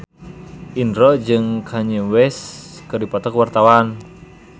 Indro jeung Kanye West keur dipoto ku wartawan